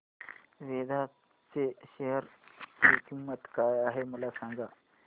वेदांत च्या शेअर ची किंमत काय आहे सांगा